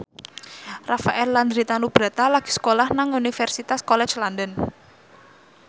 Rafael Landry Tanubrata lagi sekolah nang Universitas College London